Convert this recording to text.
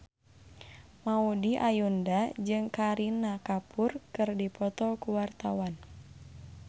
Maudy Ayunda jeung Kareena Kapoor keur dipoto ku wartawan